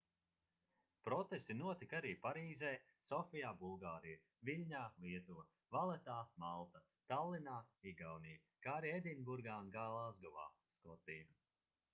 protesti notika arī parīzē sofijā bulgārija viļņā lietuva valetā malta tallinā igaunija kā arī edinburgā un glāzgovā skotija